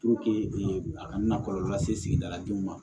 a kana na kɔlɔlɔ lase sigida la denw ma